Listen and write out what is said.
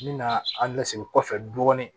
N bɛ na an lasegin kɔfɛ dɔɔnin